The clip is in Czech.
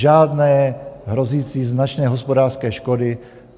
Žádné hrozící značné hospodářské škody.